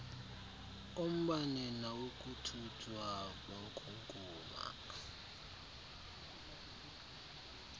ombane nawokuthuthwa kwenkukuma